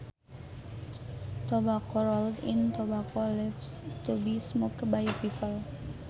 Tobacco rolled in tobacco leaves to be smoked by people